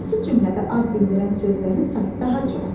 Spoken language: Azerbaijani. Hansı cümlədə ad bildirən sözlərin sayı daha çoxdur?